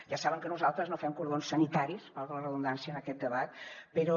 ja saben que nosaltres no fem cordons sanitaris valgui la redundància en aquest debat però